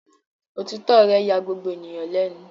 Òtítọ́ rẹ̀ ya gbogbo ènìyàn lẹ́nu.